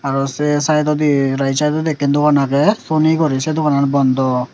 aro seh saidodi right saidodi ekan dugan aage sony guri seh duganan bondoh.